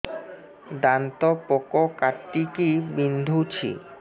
ଦାନ୍ତ ପୋକ କାଟିକି ବିନ୍ଧୁଛି